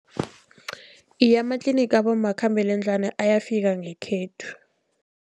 Iye, amatlinigi abomakhambangendlwana ayafika ngekhethu.